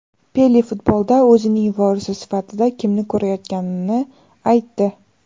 Pele futbolda o‘zining vorisi sifatida kimni ko‘rayotganini aytdi.